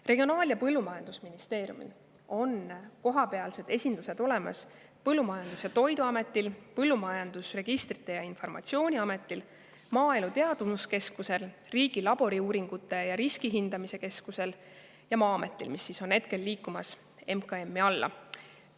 Regionaal- ja Põllumajandusministeeriumil on kohapealsed esindused olemas Põllumajandus- ja Toiduametil, Põllumajanduse Registrite ja Informatsiooni Ametil, Maaelu Teadmuskeskusel, Riigi Laboriuuringute ja Riskihindamise Keskusel ja Maa-ametil, mis praegu liigub MKM-i alla.